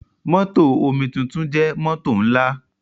Mótò omituntun jẹ́ mótò ńlá.